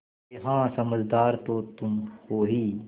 अरे हाँ समझदार तो तुम हो ही